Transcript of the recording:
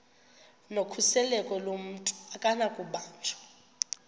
nokhuseleko lomntu akunakubanjwa